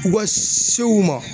U ka se u ma.